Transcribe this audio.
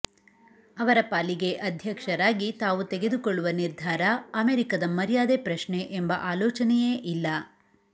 ಅವರ ಪಾಲಿಗೆ ಅಧ್ಯಕ್ಷರಾಗಿ ತಾವು ತೆಗೆದುಕೊಳ್ಳುವ ನಿರ್ಧಾರ ಅಮೆರಿಕದ ಮರ್ಯಾದೆ ಪ್ರಶ್ನೆ ಎಂಬ ಆಲೋಚನೆಯೇ ಇಲ್ಲ